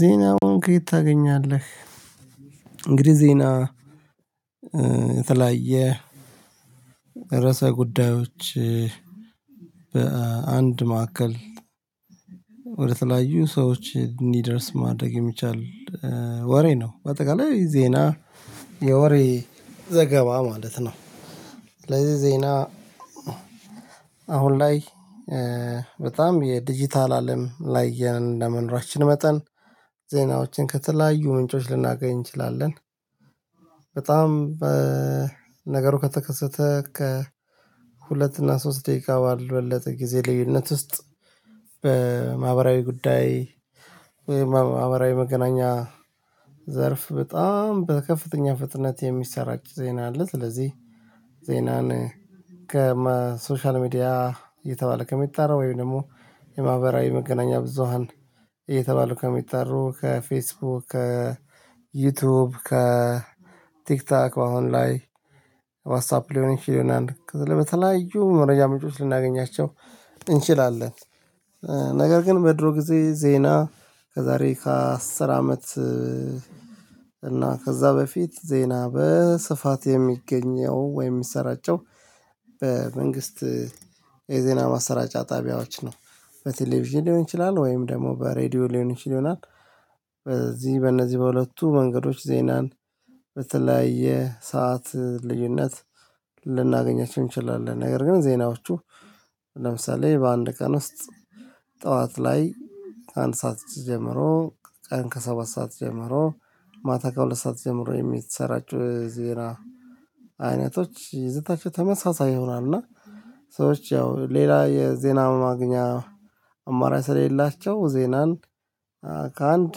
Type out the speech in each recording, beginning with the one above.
ዜናውን ከየት ታገኛለህ? እንግዲህ ዜና የተለያየ ርዕሰ ጉዳዮች በአንድ ማዕከል ወደ ተለያዩ ሰዎች እንዲደርስ ማድረግ የሚቻል ወሬ ነው። በአጠቃላይ ዜና የወሬ ዘገባ ማለት ነው። ስለዚህ ዜና አሁን ላይ በጣም የዲጂታል አለም ላይ እንደመኖራችን መጠን ዜናዎችን ከተለያዩ ምንጮች ልናገኝ እንችላለን። በጣም በነገሩ ከተከሰተ ከ ሁለት እና ሶስት ደቂቃ ባልበለጠ ጊዜ ልዩነት ውስጥ በማህበራዊ ጉዳይ ወይም በማህበራዊ መገናኛ ዘርፍ በጣም በከፍተኛ ፍጥነት የሚሰራጭ ዜና አለ። ስለዚህ ዜናን ከሶሻል ሚዲያ እየተባለ ከሚጣረው ወይም ደግሞ የማህበራዊ መገናኛ ብዙሃን እየተባለ ከሚጠሩ ከፌስቡክ ከዩቲዩብ ከቲክታክ በአሁን ላይ ዋትሳፕ ሊሆን ይችላል ከዛ በተለያዩ መረጃ ምንጮች ልናገኛቸው እንችላለን። ነገር ግን በድሮ ጊዜ ዜና ከዛሬ ከአስር አመት እና ከዛ በፊት ዜና በስፋት የሚገኘው ወይ የሚሰራጨው በመንግስት የዜና ማሰራጫ ጣቢያዎች ነው። በቴሌቪዥን ሊሆን ይችላል ወይም ደግሞ በሬዲዮ ሊሆን ይችል ይሆናል። በዚህ በእነዚህ በሁለቱ መንገዶች ዜናን በተለያየ ሰዓት ልዩነት ልናገኛቸው እንችላለን። ነገር ግን ዜናዎቹ ለምሳሌ በአንድ ቀን ውስጥ ጠዋት ላይ አንድ ሰዓት ጀምሮ ቀን ከሰባት ሰዓት ጀምሮ ማታ ከሁለት ሰዓት ጀምሮ የሚሰራጩ ዜና አይነቶች ይዘታቸው ተመሳሳይ ይሆናል። እና ሰዎች ያው ሌላ የዜና ማግኛ አማራጭ ስለሌላቸው ዜናን ከአንድ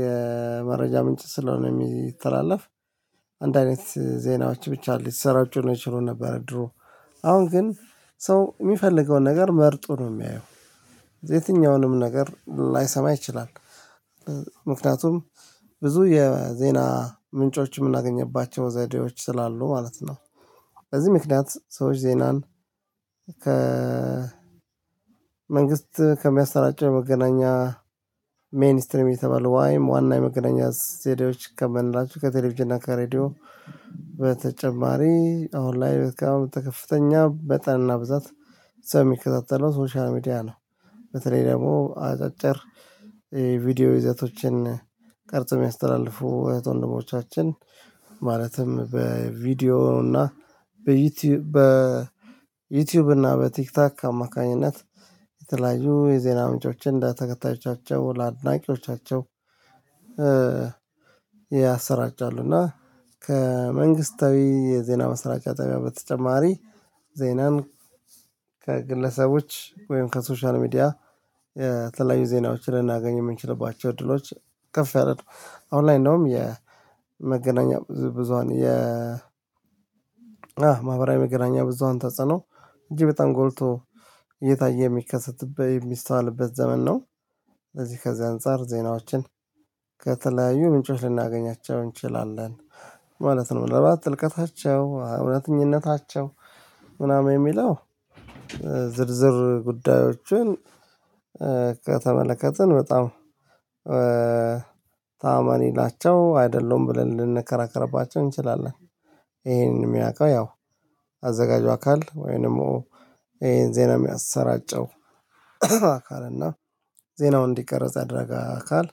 የመረጃ ምንጭ ስለሆነ የሚተላለፍ አንድ አይነት ዜናዎች ብቻ ሊሰራጩ ነው ይችሉ ነበር። ድሮ አሁን ግን ሰው የሚፈልገውን ነገር መርጦ ነው የሚያየው። የትኛውንም ነገር ላይሰማ ይችላል ምክንያቱም ብዙ የዜና ምንጮች የምናገኝባቸው ዘዴዎች ስላሉ ማለት ነው። በዚህ ምክንያት ሰዎች ዜናን ከ መንግስት ከሚያሰራጭ የመገናኛ ሜይን ስትሪም የተባለው ወይም ዋና የመገናኛ ስቴዲዮዎች ከምንላቸው ከቴሌቪዥና ከሬዲዮ በተጨማሪ አሁን ላይ ወደ ከፍተኛ መጠንና ብዛት ሰው የሚከታተለው ሶሻል ሚዲያ ነው። በተለይ ደግሞ አጫጭር የቪዲዮ ይዘቶችን ቅርጾ የሚያስተላልፉ እህት ወንድሞቻችን ማለትም በቪዲዮ እና በዩቲዩብ በዩቲዩብ እና በቲክታክ አማካኝነት የተለያዩ የዜና ምንጮችን እንደ ተከታዮቻቸው ለአድናቂዎቻቸው ያሰራጫሉ። እና ከመንግስታዊ የዜና ማሰራጫ ጣቢያ በተጨማሪ ዜናን ከግለሰቦች ወይም ከሶሻል ሚዲያ የተለያዩ ዜናዎችን ልናገኝ የምንችልባቸው እድሎች ከፍ ያለ ነው። አሁን ላይ እንደውም የመገናኛ ብዙሃን የ ማህበራዊ መገናኛ ብዙሃን ተጸነው እጅግ በጣም ጎልቶ እየታየ የሚከሰትበት የሚስተዋልበት ዘመን ነው። ለዚህ ከዚህ አንፃር ዜናዎችን ከተለያዩ ምንጮች ልናገኛቸው እንችላለን ማለት ነው። ለምን ጥልቀታቸው እውነተኛነታቸው ምናምን የሚለው ዝርዝር ጉዳዮችን ከተመለከትን በጣም ታማኒ ናቸው አይደለሁም ብለን ልንከራከርባቸው እንችላለን። ይሄንን የሚያውቀው ያው አዘጋጁ አካል ወይንም ይሄን ዜና የሚያሰራጨው አካል እና ዜናው እንዲቀረጽ ያደረገ አካል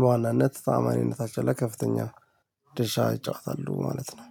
በዋናነት ታማኝነታቸው ነው ለከፍተኛ ድርሻ ይጫወታሉ ማለት ነው